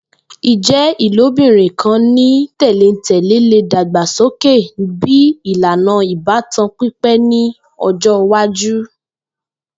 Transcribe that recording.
Ijẹ ilobirin kan ni tẹlentẹle le dagbasoke bi ilana ibatan pipẹ ni ọjọ iwaju.